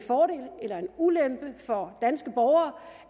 ulempe for danske borgere